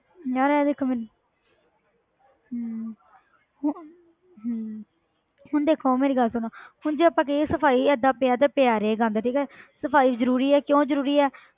ਮੈਂ ਨਾ ਦੇਖ ਮੈਨੂੰ ਹਮ ਹਮ ਹੁਣ ਦੇਖੋ ਮੇਰੀ ਗੱਲ ਸੁਣ ਹੁਣ ਜੇ ਆਪਾਂ ਕਹੀਏ ਏਦਾਂ ਪਿਆ ਤੇ ਪਿਆ ਰਹੇ ਗੰਦ ਠੀਕ ਹੈ ਸਫ਼ਾਈ ਜ਼ਰੂਰੀ ਹੈ ਕਿਉਂ ਜ਼ਰੂਰੀ ਹੈ।